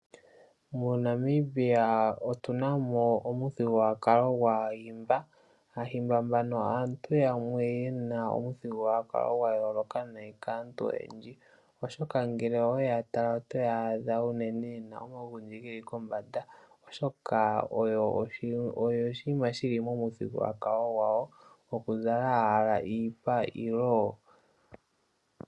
MoNamibia otuna mo omuthigululwakalo gwAahimba, Aahimba mbano aantu yamwe yena omuthigululwakalo gwa yooloka nayi kaantu oyendji, oshoka ngele owe yaadha otwaadha yena omagundji geli kombanda, oshoka omuthigululwakalo gwawo oku zala iipa.